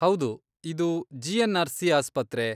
ಹೌದು, ಇದು ಜಿ.ಎನ್.ಆರ್.ಸಿ. ಆಸ್ಪತ್ರೆ.